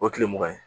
O ye tile mugan ye